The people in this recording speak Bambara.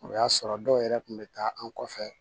O y'a sɔrɔ dɔw yɛrɛ kun bɛ taa an kɔfɛ